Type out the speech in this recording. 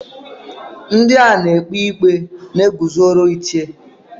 Ndi a na-ekpe ikpe na-eguzoro iche.